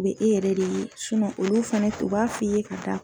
U be e yɛrɛ de ye olu fɛnɛ u b'a f'i ye k'a da